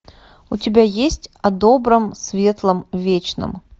у тебя есть о добром светлом вечном